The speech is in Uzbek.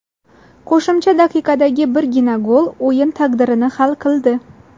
Qo‘shimcha daqiqadagi birgina gol o‘yin taqdirini hal qildi.